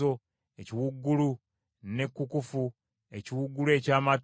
ekiwuugulu, n’ekkukufu, ekiwuugulu eky’amatu;